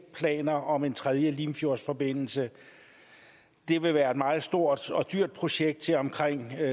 planer om en tredje limfjordsforbindelse det vil være et meget stort og dyrt projekt til omkring